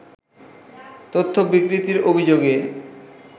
তথ্য বিকৃতির অভিযোগে